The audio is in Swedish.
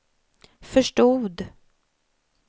förstod